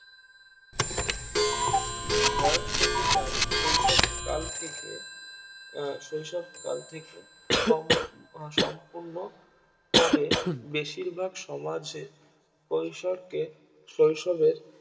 বয়ঃসন্ধি কাল শৈশব কাল থেকে আহ শৈশবকাল থেকে সম্পূর্ণ সম্পূর্ণ তবে বেশিরভাগ সমাজে কৈশোরকে শৈশবের